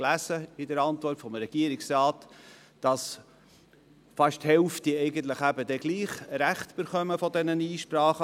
In der Antwort des Regierungsrates lasen wir, fast die Hälfte dieser Einsprachen erhielten trotzdem Recht.